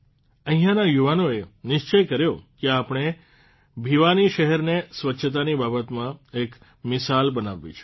અહિંના યુવાનોએ નિશ્ચય કર્યો કે આપણે ભિવાની શહેરને સ્વચ્છતાની બાબતમાં એક મિશાલ બનાવવી છે